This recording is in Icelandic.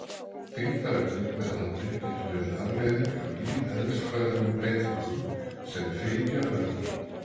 Þyngdaraukning með aldri getur verið afleiðing af lífeðlisfræðilegum breytingum sem fylgja öldrun.